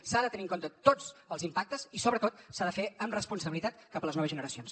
s’han de tenir en compte tots els impactes i sobretot s’ha de fer amb responsabilitat cap a les noves generacions